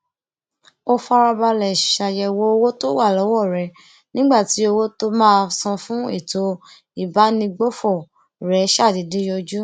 ó farabalè ṣàyèwò owó tó wà lówó rè nígbà tí owó tó máa san fún ètò ìbánigbófò rè ṣàdédé yọjú